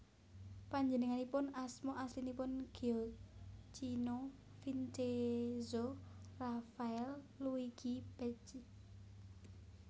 Panjenenganipun asma aslinipun Gioacchino Vincenzo Raffaele Luigi Pecci